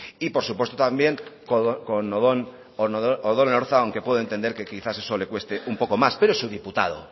y por supuesto también con odón elorza aunque puedo entender que quizá eso le cueste un poco más pero es su diputado